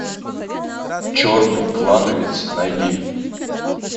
черный клановец найди